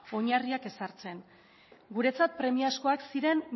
oinarriak ezartzen guretzat premiazkoak ziren